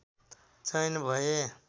चयन भए